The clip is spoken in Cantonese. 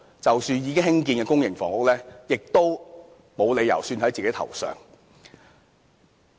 其實，已經興建的公營房屋單位，他是沒有理由算在自己頭上的。